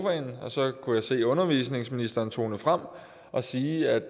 undervisningsministeren tone frem og sige at